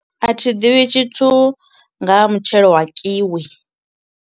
A thi ḓivhi tshithu nga ha mutshelo wa kiwi.